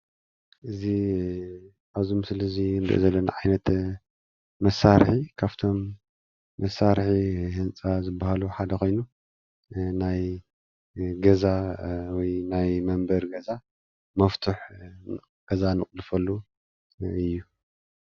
እዚ ኣብዚ ምስሊ እዚ ንርእዮ ዘለና ዓይነት መሳርሒ ካብቶም መሳርሒ ህንጻ ዝብሃሉ ሓደ ኮይኑ ናይ ገዛ ወይ ናይ መንበሪ ገዛ መፍቱሕ ገዛ እንቁልፈሉ እዩ።